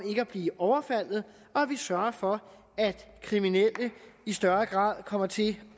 ikke at blive overfaldet og at vi sørger for at kriminelle i større grad kommer til